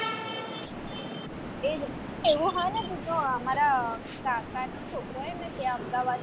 એ જ ને એવું ને તો જો મારા કાકાનો છોકરો એ ત્યાં અમદાવાદ